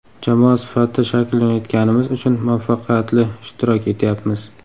Jamoa sifatida shakllanayotganimiz uchun muvaffaqiyatli ishtirok etyapmiz.